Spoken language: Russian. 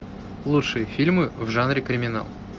лучшие фильмы в жанре криминал